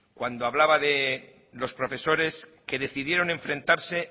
cuando hablaba de los profesores que decidieron enfrentarse